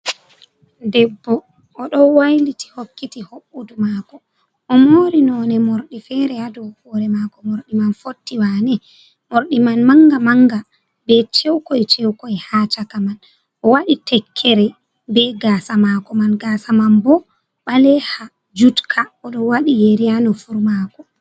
Debbo oɗo wailiti hokkiti hoɓɓudu mako o mori none morɗi fere ha do hore mako morɗi man fotti wane morɗi man manga manga be cewkoi cewkoi ha chaka man o waɗi tekkere be gasa mako man gasa man bo ɓale ha jutka oɗo wadi yeri ha nufuru mako.